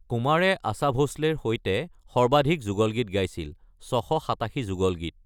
কুমাৰে আশা ভোঁসলেৰ (৬৮৭ যুগল গীত) সৈতে সৰ্বাধিক যুগল গীত গাইছিল।